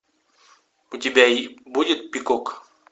у тебя будет пикок